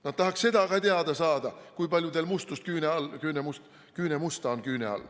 Nad tahaksid seda ka teada saada, kui palju teil mustust küüne all on.